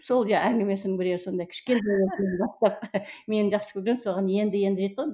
сол әңгімесінің біреуі сондай мені жақсы көрген соған енді енді жетті ғой